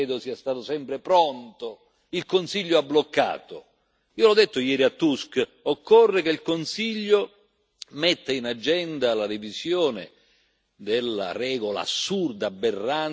Io ho detto ieri al Presidente Tusk occorre che il Consiglio metta in agenda la revisione della regola assurda, aberrante, che mette tutto sulle spalle dei paesi di primo sbarco.